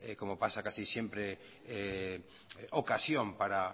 como pasa casi siempre ocasión para